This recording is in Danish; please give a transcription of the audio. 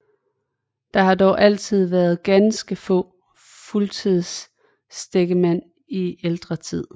Der har dog også altid været ganske få fuldtidstækkemænd i ældre tid